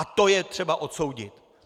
A to je třeba odsoudit.